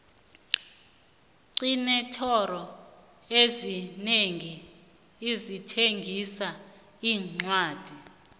xinentolo ezinengi ezithengisa iincwadi